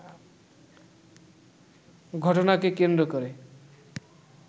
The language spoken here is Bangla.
ঘটনাকে কেন্দ্র করে